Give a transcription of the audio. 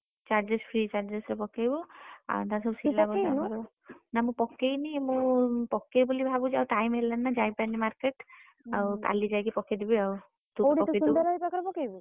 Charges free charges ରେ ପକେଇବୁ ନା ମୁଁ ପକେଇନି ମୁଁ ପକେଇବି ବୋଲି ଭାବୁଚି ଆଉ time ହେଲାନି ନା ଯାଇପାରିନି market ଆଉ କାଲି ଯାଇକି ପକେଇଦେବି ଆଉ ସୁନ୍ଦର ଭାଇ ପାଖରେ ପକେଇବୁ?